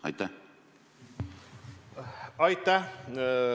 Aitäh!